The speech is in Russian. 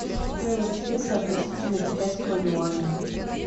стоимость песо относительно китайского юаня